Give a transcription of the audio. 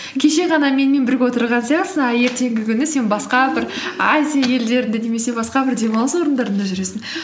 кеше ғана менімен бірге отырған сияқтысың а ертеңгі күні сен басқа бір азия елдерінде немесе басқа бір демалыс орындарында жүресің